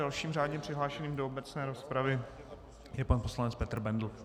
Dalším řádně přihlášeným do obecné rozpravy je pan poslanec Petr Bendl.